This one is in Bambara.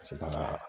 Ka se ka